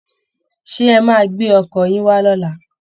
Ṣé ẹ máa gbé ọkọ̀ yín wá lọ́la?